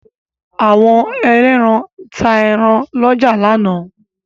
Àwọn ẹlẹ́ran ta ẹran lọ́jà lánàá.